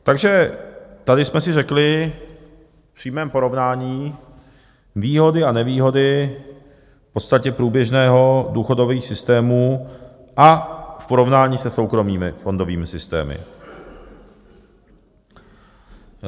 Takže tady jsme si řekli v přímém porovnání výhody a nevýhody v podstatě průběžných důchodových systémů a v porovnání se soukromými fondovými systémy.